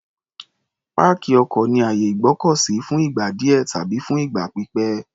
Páàkì ọkọ̀ ni àyè ìgbọ́kọ̀ sí fún ìgbà díẹ̀ tàbí fún ìgbà pípẹ̀.